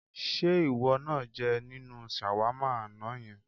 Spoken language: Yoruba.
Ṣé ìwọ náà jẹ nínú ṣàwámà àná yẹn?